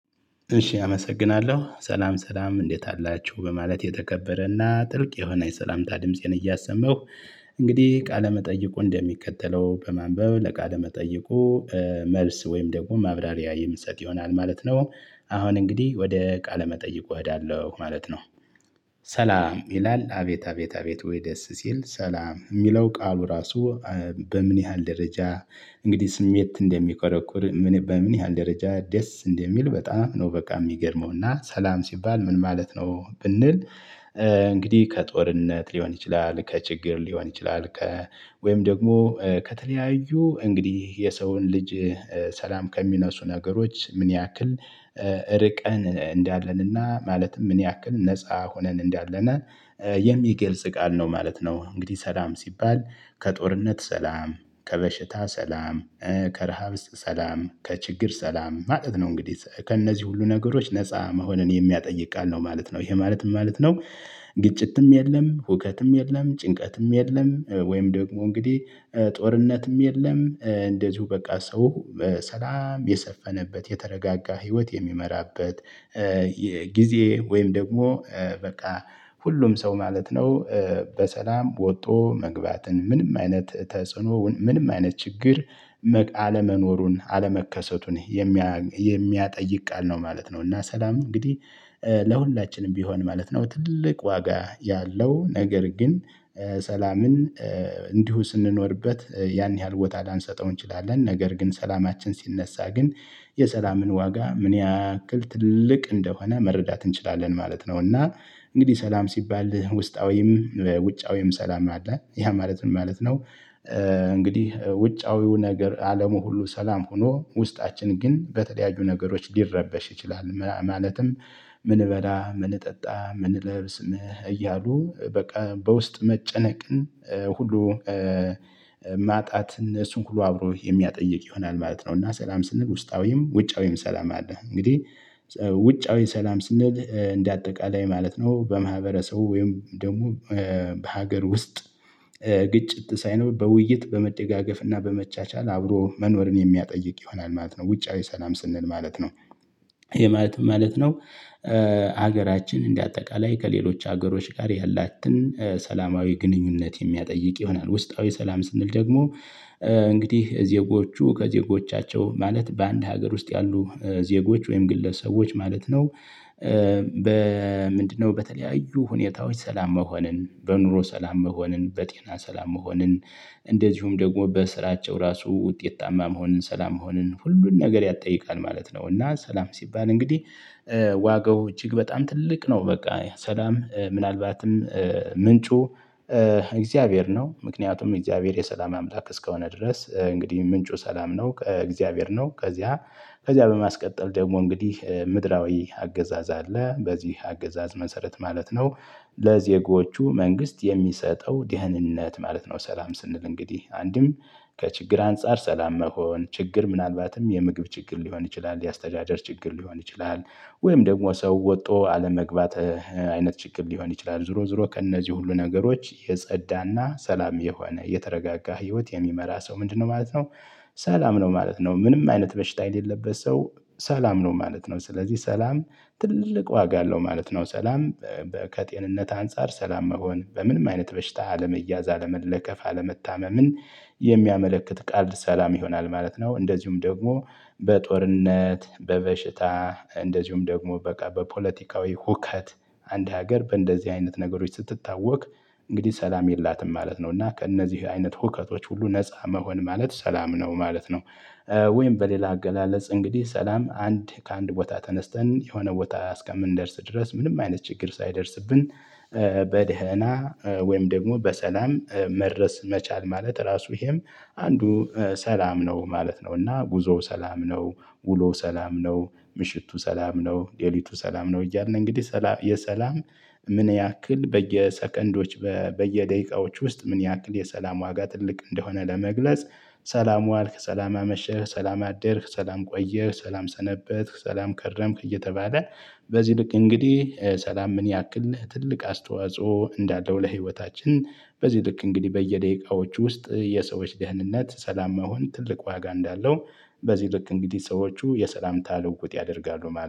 እሺ አመሰግናለሁ ሰላም ሰላም እንዴት አላችሁ በማለት የተከበረና ጥልቅ የሆነ የሰላምታ ድምፄን እያሰመሁ እንግዲህ ቃለመጠይቁ እንደሚከተለው በማንበብ ለቃለመጠይቁ መልስ ወይም ደግሞ ማብራሪያ የምሰጥ ይሆናል ማለት ነው። አሁን እንግዲህ ወደ ቃለ መጠይቁ እኸዳለሁ ማለት ነው። ሰላም ይላል አቤት አቤት አቤት ወይ ደስ ሲል ሰላም የሚለው ቃሉ ራሱ በምን ያህል ደረጃ? እንግዲህ ስሜት እንደሚቆረቁር በምን ያህል ደረጃ ደስ እንደሚል በጣም ነው በቃ የሚገርመውና ሰላም ሲባል ምን ማለት ነው ብንል? እንግዲህ ከጦርነት ሊሆን ይችላል ከችግር ሊሆን ይችላል ከ ወይም ደግሞ ከተለያዩ እንግዲህ የሰውን ልጅ ሰላም ከሚነሱ ነገሮች ምን ያክል እርቀን እንዳለንና ማለትም ምን ያክል ነፃ ሆነን እንዳለን የሚገልጽ ቃል ነው ማለት ነው። እንግዲህ ሰላም ሲባል ከጦርነት ሰላም ከበሽታ ሰላም ከረሃብስ ሰላም ከችግር ሰላም ማለት ነው። እንግዲህ ከእነዚህ ሁሉ ነገሮች ነፃ መሆንን የሚያጠይቅ ቃል ነው ማለት ነው ይሄ ማለት ምን ማለት ነው? ግጭትም የለም ሁከትም የለም ጭንቀትም የለም ወይም ደግሞ እንግዲህ ጦርነትም የለም እንደዚሁ በቃ ሰው ሰላም የሰፈነበት የተረጋጋ ህይወት የሚመራበት የጊዜ ወይም ደግሞ በቃ ሁሉም ሰው ማለት ነው። በሰላም ወጥቶ መግባትን ምንም አይነት ተጽዕኖ ምንም አይነት ችግር አለመኖሩን አለመከሰቱን የሚያጠይቅ ቃል ነው ማለት ነው። እና ሰላም እንግዲህ ለሁላችንም ቢሆን ማለት ነው ትልቅ ዋጋ ያለው ነገር ግን ሰላምን እንዲሁ ስንኖርበት ያን ያህል ቦታ ላንሰጠው እንችላለን ነገር ግን ሰላማችን ሲነሳ ግን የሰላምን ዋጋ ምን ያህል ትልቅ እንደሆነ መረዳት እንችላለን ማለት ነው። እና እንግዲህ ሰላም ሲባል ውስጣዊም ውጫዊም ሰላም አለ ያ ማለት ምን ማለት ነው? እንግዲህ ውጫዊው ነገር አለሙ ሁሉ ሰላም ሆኖ ውስጣችን ግን በተለያዩ ነገሮች ሊረበሽ ይችላል ማለትም ምን እበላ ምን እጠጣ ምን እለብስ እያሉ በቃ በውስጥ መጨነቅን ሁሉ ማጣትን እሱን ሁሉ አብሮ የሚያጠይቅ ይሆናል ማለት ነው። እና ሰላም ስንል ውስጣዊም ውጫዊም ሰላም አለ። እንግዲህ ውጫዊ ሰላም ስንል እንዳጠቃለይ ማለት ነው በማህበረሰቡ ወይም ደግሞ በሀገር ውስጥ ግጭት ሳይኖር በውይይት በመደጋገፍ እና በመቻቻል አብሮ መኖርን የሚያጠይቅ ይሆናል ማለት ነው ውጫዊ ሰላም ስንል ማለት ነው። ይሄ ማለት ምን ማለት ነው? ሀገራችን እንደ አጠቃላይ ከሌሎች ሀገሮች ጋር ያላትን ሰላማዊ ግንኙነት የሚያጠይቅ ይሆናል። ውስጣዊ ሰላም ስንል ደግሞ እንግዲህ ዜጎቹ ከዜጎቻቸው ማለት በአንድ ሀገር ውስጥ ያሉ ዜጎች ወይም ግለሰቦች ማለት ነው? በምንድነው በተለያዩ ሁኔታዎች ሰላም መሆንን በኑሮ ሰላም መሆንን በጤና ሰላም መሆንን እንደዚሁም ደግሞ በስራቸው ራሱ ውጤታማ መሆንን ሰላም መሆንን ሁሉን ነገር ያጠይቃል ማለት ነው። እና ሰላም ሲባል እንግዲህ ዋጋው እጅግ በጣም ትልቅ ነው። በቃ ሰላም ምናልባትም ምንጩ እግዚአብሔር ነው ምክንያቱም እግዚአብሔር የሰላም አምላክ እስከሆነ ድረስ እንግዲህ ምንጩ ሰላም ነው እግዚአብሔር ነው። ከዚያ ከዚያ በማስቀጠል ደግሞ እንግዲህ ምድራዊ አገዛዝ አለ በዚህ አገዛዝ መሰረት ማለት ነው። ለዜጎቹ መንግስት የሚሰጠው ደህንነት ማለት ነው። ሰላም ስንል እንግዲህ አንድም ከችግር አንፃር ሰላም መሆን ችግር ምናልባትም የምግብ ችግር ሊሆን ይችላል የአስተዳደር ችግር ሊሆን ይችላል። ወይም ደግሞ ሰው ወጥቶ አለመግባት አይነት ችግር ሊሆን ይችላል ዞሮ ዞሮ ከእነዚህ ሁሉ ነገሮች የጸዳና ሰላም የሆነ የተረጋጋ ህይወት የሚመራ ሰው ምንድነው ማለት ነው? ሰላም ነው ማለት ነው ምንም አይነት በሽታ የሌለበት ሰው ሰላም ነው ማለት ነው። ስለዚህ ሰላም ትልቅ ዋጋ አለው ማለት ነው። ሰላም ከጤንነት አንፃር ሰላም መሆን በምንም አይነት በሽታ አለመያዝ አለመለከፍ አለመታመምን የሚያመለክት ቃል ሰላም ይሆናል ማለት ነው። እንደዚሁም ደግሞ በጦርነት በበሽታ እንደዚሁም ደግሞ በቃ በፖለቲካዊ ሁከት አንድ ሀገር በእንደዚህ አይነት ነገሮች ስትታወቅ እንግዲህ ሰላም የላትም ማለት ነው እና ከእነዚህ አይነት ሁከቶች ሁሉ ነፃ መሆን ማለት ሰላም ነው ማለት ነው። ወይም በሌላ አገላለጽ እንግዲህ ሰላም አንድ ከአንድ ቦታ ተነስተን የሆነ ቦታ እስከምንደርስ ድረስ ምንም አይነት ችግር ሳይደርስብን በደህና ወይም ደግሞ በሰላም መድረስ መቻል ማለት ራሱ ይሄም አንዱ ሰላም ነው ማለት ነው። እና ጉዞ ሰላም ነው። ውሎ ሰላም ነው። ምሽቱ ሰላም ነው ሌሊቱ ሰላም ነው። እያልን እንግዲህ የሰላም ምን ያክል በየሰከንዶች በየደቂቃዎች ውስጥ ምን ያክል የሰላም ዋጋ ትልቅ እንደሆነ ለመግለጽ። ሰላም ዋልክ ሰላም አመሸህ ሰላም አደርክ ሰላም ቆየህ ሰላም ሰነበትክ ሰላም ከረምክ እየተባለ በዚህ ልክ እንግዲህ ሰላም ምን ያክልህ ትልቅ አስተዋጽኦ እንዳለው ለህይወታችን። በዚህ ልክ እንግዲህ በየደቂቃዎቹ ውስጥ የሰዎች ደህንነት ሰላም መሆን ትልቅ ዋጋ እንዳለው። በዚህ ልክ እንግዲህ ሰዎቹ የሰላምታ ልውውጥ ያደርጋሉ